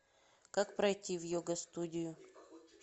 как пройти в йога студию